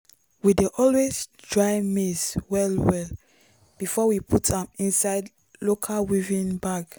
we dey always dry maize well well before we put am inside local woven bag.